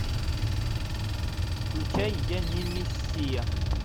включай я не мессия